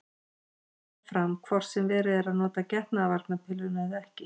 Hún getur komið fram hvort sem verið er að nota getnaðarvarnarpilluna eða ekki.